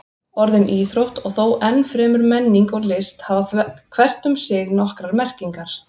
Orðin íþrótt og þó enn fremur menning og list hafa hvert um sig nokkrar merkingar.